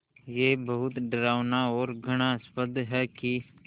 ये बहुत डरावना और घृणास्पद है कि